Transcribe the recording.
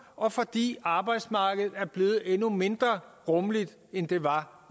og fordi arbejdsmarkedet er blevet endnu mindre rummeligt end det var